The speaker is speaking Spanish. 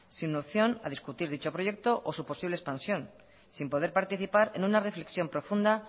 sin opción a discutir dicho proyecto o su posible expansión sin poder participar en una reflexión profunda